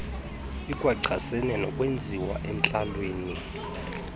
ikwachasene nokwenziwayo entlalweni